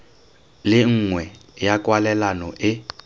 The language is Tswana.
le nngwe ya kwalelano e